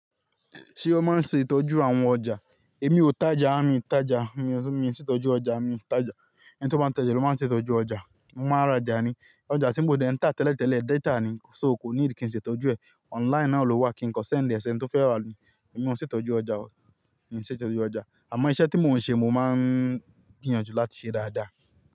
Ṣé o máa ń ṣe ìtọ́jú àwọn ọjà? Èmi ò tájaa, mì i tája, mi ò miń ṣe ìtọ́jú ọjà, mi i tája. Ẹni tí ó bá ń tája ló máa ń ṣe ìtọ́jú ọjà. Mo máa ń rajà nì. Ọjà tí mo de ń tà tẹ́lẹ̀tẹ́lẹ̀ data ni, so kò nìdí kí n ṣe ìtọ́jú ẹ̀. Online náà ló wà kí n kan send ẹ sẹ̀ni to fẹ́ rà ni. Èmi ò ń ṣe ìtọ́jú ọjà o. Mi ò ń ṣe ìtọ́jú ọjà. Àmọ́ iṣẹ́ tí mò ń ṣe mo máa ń gbìyànjú láti ṣe dáadáa.